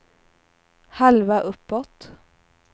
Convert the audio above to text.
halva uppåt